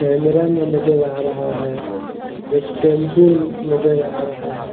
Cameraman नजर आ रहा है और एक टेम्पू नजर आ रहा है।